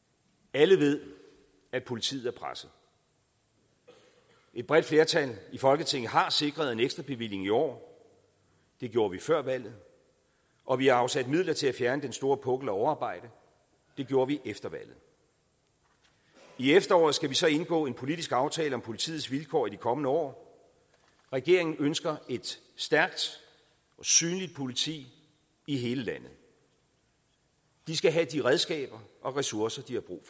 alle ved at politiet er presset et bredt flertal i folketinget har sikret en ekstra bevilling i år det gjorde vi før valget og vi har afsat midler til at fjerne den store pukkel af overarbejde det gjorde vi efter valget i efteråret skal vi så indgå en politisk aftale om politiets vilkår i de kommende år regeringen ønsker et stærkt og synligt politi i hele landet de skal have de redskaber og ressourcer de har brug